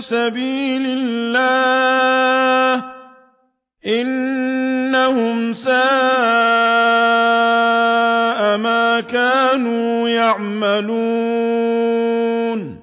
سَبِيلِ اللَّهِ ۚ إِنَّهُمْ سَاءَ مَا كَانُوا يَعْمَلُونَ